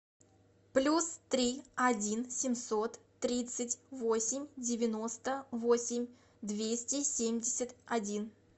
плюс три один семьсот тридцать восемь девяносто восемь двести семьдесят один